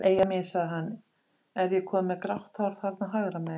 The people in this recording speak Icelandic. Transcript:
Eyja mín, sagði hann, er ég kominn með grátt hár þarna hægra megin?